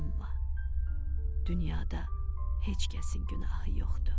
Amma dünyada heç kəsin günahı yoxdur.